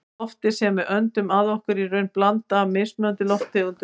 Loftið sem við öndum að okkur er í raun blanda af mismunandi lofttegundum.